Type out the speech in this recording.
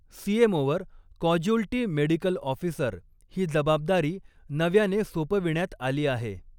सीएमओवर casualty medical officer ही जबाबदारी नव्याने सोपविण्यात आली आहे.